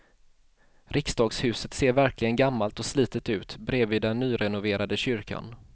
Riksdagshuset ser verkligen gammalt och slitet ut bredvid den nyrenoverade kyrkan.